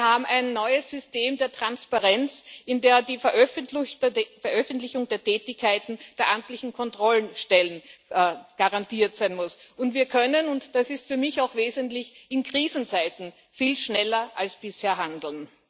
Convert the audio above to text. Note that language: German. Wir haben ein neues System der Transparenz, in dem die Veröffentlichung der Tätigkeiten der amtlichen Kontrollstellen garantiert sein muss, und wir können und das ist für mich auch wesentlich in Krisenzeiten viel schneller als bisher handeln.